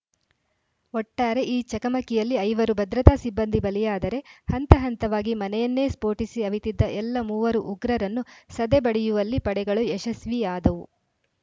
ಒಟ್ಟಾರೆ ಈ ಚಕಮಕಿಯಲ್ಲಿ ಐವರು ಭದ್ರತಾ ಸಿಬ್ಬಂದಿ ಬಲಿಯಾದರೆ ಹಂತ ಹಂತವಾಗಿ ಮನೆಯನ್ನೇ ಸ್ಫೋಟಿಸಿ ಅವಿತಿದ್ದ ಎಲ್ಲ ಮೂವರು ಉಗ್ರರನ್ನು ಸದೆಬಡಿಯುವಲ್ಲಿ ಪಡೆಗಳು ಯಶಸ್ವಿಯಾದವು